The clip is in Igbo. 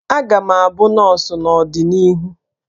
Aga m abụ nọọsụ n'ọdịnihu